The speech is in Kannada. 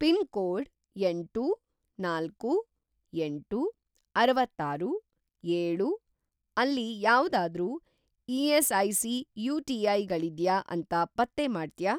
ಪಿನ್‌ಕೋಡ್‌ ಎಂಟು, ನಾಲ್ಕು, ಎಂಟು, ಅರವತ್ತಾರು, ಏಳು ಅಲ್ಲಿ ಯಾವ್ದಾದ್ರೂ ಇ.ಎಸ್.ಐ.ಸಿ. ಯು.ಟಿ.ಐ. ಗಳಿದ್ಯಾ ಅಂತ ಪತ್ತೆ ಮಾಡ್ತ್ಯಾ?